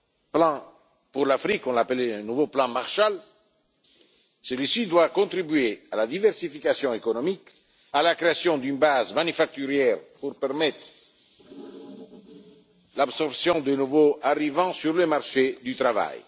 plan pour l'Afrique, un nouveau plan Marshall. Celui ci devra contribuer à la diversification économique et à la création d'une base manufacturière pour permettre l'absorption des nouveaux arrivants sur le marché du travail.